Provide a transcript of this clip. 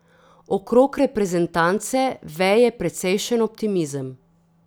Okrog reprezentance veje precejšen optimizem.